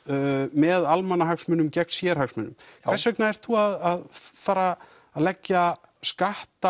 með almannahagsmunum gegn sérhagsmunum hvers vegna ert þú að fara að leggja skatt